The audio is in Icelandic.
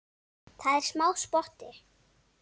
Það er smá spotti.